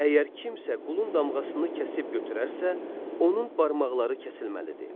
Əgər kimsə qulun damğasını kəsib götürərsə, onun barmaqları kəsilməlidir.